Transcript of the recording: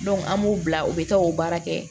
an b'u bila u bɛ taa o baara kɛ